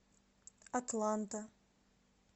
атланта